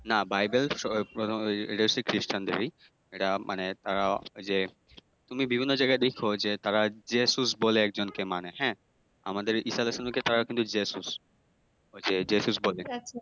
নাহ। বাইবেল উহ এটা হচ্ছে খ্রীষ্টান্দেরই এটা মানে তারা আহ এইযে তুমি বিভিন্ন জায়গায় দেখো যে তারা যেসুস বলে একজনকে মানে হ্যাঁ আমাদের ঈসা আলাইসাল্লাম কে তারা যেসুস ওই যে যেসুস বলে